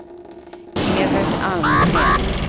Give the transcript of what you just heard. Evert Almgren